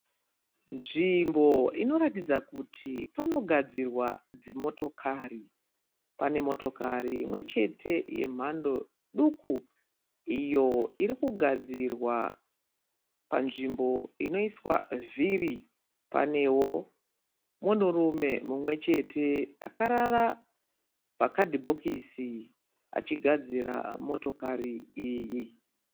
Nzvimbo inoratidza kuti panogadzirwa dzimotokari. Pane motokari imwechete yemhandó duku iyo irikugadzirwa. Panzvimbo inoiswa vhiri paneo munhurume mumwechete akarara pakadhibokisi achigadzira motokari iyi.